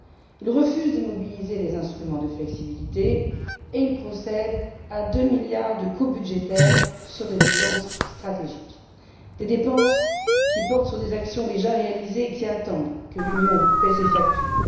Il refuse de mobiliser les instruments de flexibilité et il procède à 2 milliards de coupes budgétaires sur des dépenses stratégiques, des dépenses qui portent sur des actions déjà réalisées et qui attendent que l'Union paie ses factures.